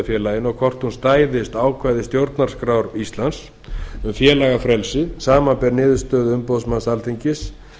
að félaginu og hvort hún stæðist ákvæði stjórnarskrár íslands um félagafrelsi samanber niðurstöðu umboðsmanns alþingis